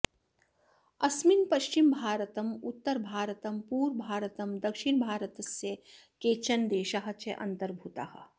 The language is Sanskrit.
अस्मिन् पश्चिमभारतम् उत्तरभारतं पुर्वभारतं दक्षिणभारतस्य केचन देशाः च अन्तर्भूताः